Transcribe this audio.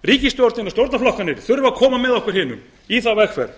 og stjórnarflokkarnir þurfa að koma með okkur hinum í þá vegferð